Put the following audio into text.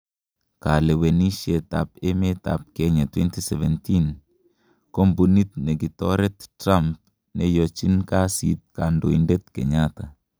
Kolewenisiet ab emet ab Kenya 2017: Kombunit negitoret Trunp "neyochin kasit" kondoindet Kenyatta.